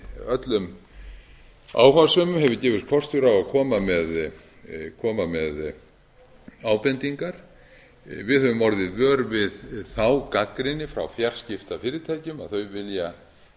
öllum áhugasömum hefur gefist kostur á að koma með ábendingar við höfum orðið vör við þá gagnrýni frá fjarskiptafyrirtækjum að þau vilja